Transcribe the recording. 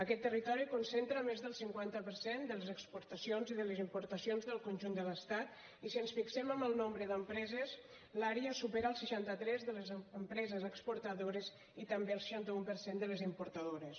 aquest territori concentra més del cinquanta per cent de les exportacions i de les importacions del conjunt de l’estat i si ens fixem amb el nombre d’empreses l’àrea supera el seixanta tres de les empreses exportadores i també el seixanta un per cent de les importadores